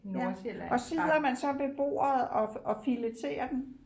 Ja og sidder man så ved bordet og og fileterer den